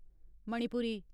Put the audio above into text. Manipuri